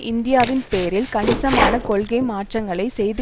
இந்தியாவின் பேரில் கணிசமான கொள்கை மாற்றங்களை செய்து